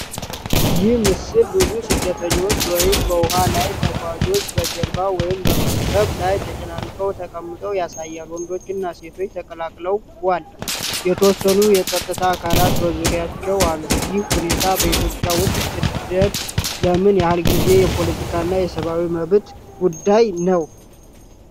ይህ ምስል ብዙ ስደተኞች ወይም በውሃ ላይ ተጓዦች በጀልባ ወይም በመርከብ ላይ ተጨናንቀው ተቀምጠው ያሳያል። ወንዶችና ሴቶች ተቀላቅለዋል፤ የተወሰኑ የጸጥታ አካላት በዙሪያቸው አሉ። ይህ ሁኔታ በኢትዮጵያ ውስጥ ስደት ለምን ያህል ጊዜ የፖለቲካና የሰብዓዊ መብት ጉዳይ ነው?